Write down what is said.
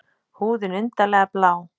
Húðin undarlega blá.